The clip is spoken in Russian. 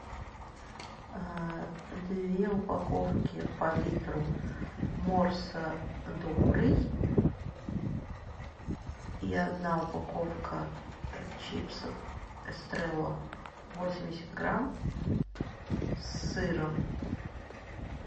две упаковки по литру морса добрый и одна упаковка чипсов эстрелла восемьдесят грамм с сыром